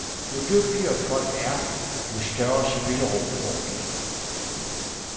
Jo dygtigere folk er, jo større spillerum får de.